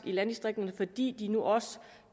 i landdistrikterne fordi de nu også